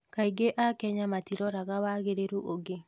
kaingĩ akenya matiroraga wagĩrĩru ũngĩ